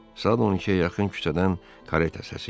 Saat 12-yə yaxın küçədən kareta səsi gəldi.